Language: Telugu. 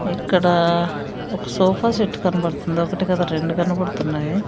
ఇక్కడ ఒక సోఫా సెట్ కనబడుతుంది ఒకటి కాదు రెండు కనబడుతున్నాయి.